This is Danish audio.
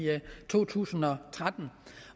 to tusind og tretten